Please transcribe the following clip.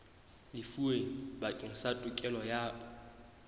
lefuweng bakeng sa tokelo ya